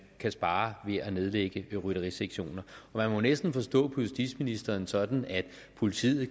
kan spare ved at nedlægge rytterisektionen man må næsten forstå justitsministeren sådan at politiet